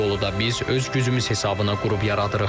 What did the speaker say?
Bu yolu da biz öz gücümüz hesabına qurub yaradırıq.